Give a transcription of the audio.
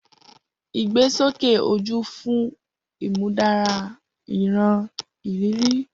Igbesoke oju fun imudara iran iriri.